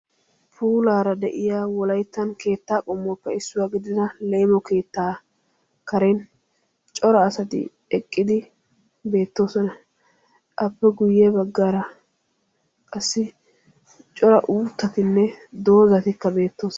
Puulara de'iya wolaytta leemo keetta karen cora asatti beetosonna. Appe qommo bagan cora doozzatti beetosonna.